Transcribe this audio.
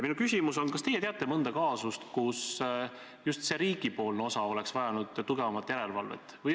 Minu küsimus on selline: kas teie teate mõnda kaasust, kus riigipoolne osa oleks vajanud tugevamat järelevalvet?